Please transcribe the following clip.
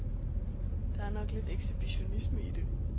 Der er nok lidt ekshibitionisme i det.